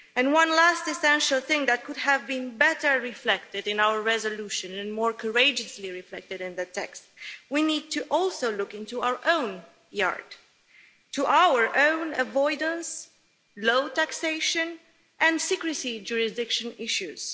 One last essential thing that could have been better reflected in our resolution and more courageously reflected in the text is that we also need to look at our own backyard and look at our own avoidance, low taxation and secrecy jurisdiction issues.